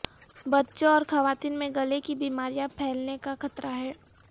بچوں اور خواتین میں گلے کی بیماریاں پھیلنے کا خطرہ ہے